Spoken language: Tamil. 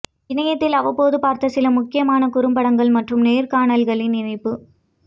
இணையத்தில் அவ்வப்போது பார்த்த சில முக்கியமான குறும்படங்கள் மற்றும் நேர்காணல்களின் இணைப்பு